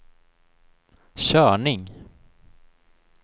körning